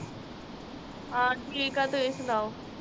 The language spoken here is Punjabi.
ਹਾਂ, ਠੀਕ ਆ ਤੁਸੀਂ ਸਨਾਓ।